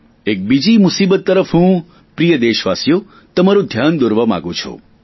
એક બીજી મુસીબતની તરફ હું પ્રિય દેશવાસીઓ તમારું ધ્યાન દોરવા માગું છું